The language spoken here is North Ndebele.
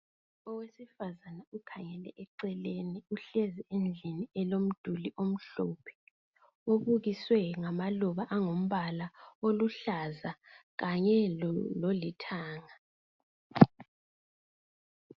Owesifazane ukhangele eceleni uhlezi endlini elomduli omhlophe obukiswe ngamaluba angumbala oluhlaza kanye lolithanga.